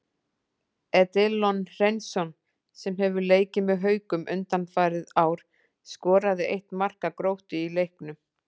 Edilon Hreinsson, sem hefur leikið með Haukum undanfarin ár, skoraði eitt marka Gróttu í leiknum.